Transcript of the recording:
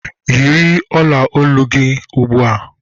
Yiri ọla olu gị ugbua!